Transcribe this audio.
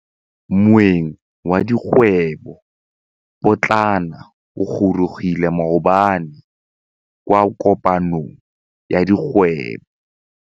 Moêng wa dikgwêbô pôtlana o gorogile maabane kwa kopanong ya dikgwêbô.